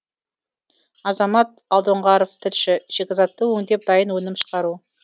азамат алдоңғаров тілші шикізатты өңдеп дайын өнім шығару